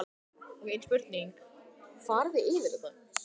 Styrjur finnast í ám og vötnum í Norður-Ameríku, Evrópu og Asíu.